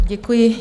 Děkuji.